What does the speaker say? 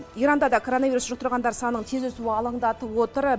иранда да коронавирусты жұқтырғандар санының тез өсуі алаңдатып отыр